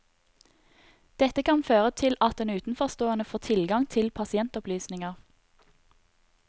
Dette kan føre til at utenforstående får tilgang til pasientopplysninger.